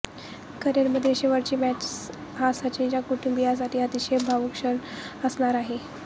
करिअरमधील शेवटची मॅच हा सचिनच्या कुटुंबीयांसाठी अतिशय भावूक क्षण असणार आहे